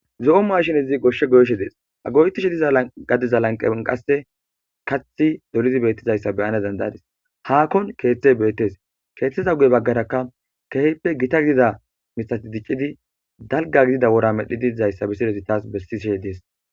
zo7o maashinezi goshshe goyshe dees ago7tishe diza gadiza lanqan qasse kathi dolidi beettizayssa beyana dandayadis hakkon keeththe beettes keeththeza gue baggaraka kehppe gita gidida mitati diccidi dalga gidida wora medhdhi diizayssa bissilezi taas bessise dees